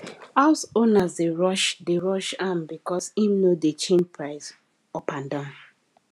house owners dey rush dey rush am because him no dey change price up and down